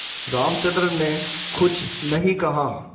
रामचंद्र ने कुछ नहीं कहा